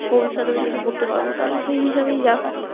ভবিষতে অনেককিছু করতে পারবো সেই হিসেবেই যা